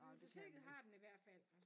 Biblioteket har den i hvert fald